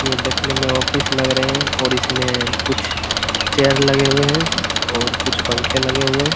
ये देखने में ऑफिस लग रहे है और इसमें कुछ चेयर लगे हुए हैं और कुछ पंखे लगे हुए हैं।